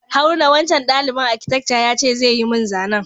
Haruna, wancan dalibain akitekca ya ce zai yi mun zanan.